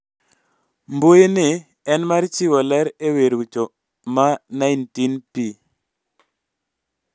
Mbui ni en mar chiwo ler e wi rucho ma 19p